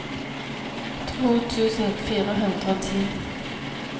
to tusen fire hundre og ti